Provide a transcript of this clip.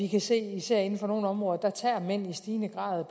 kan se at især inden for nogle områder tager mændene i stigende grad